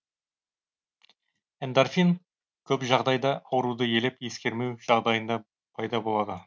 эндорфин көп жағдайда ауруды елеп ескермеу жағдайында пайда болады